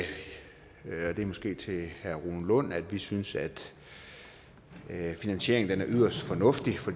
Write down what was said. til herre rune lund at vi synes at finansieringen er yderst fornuftig for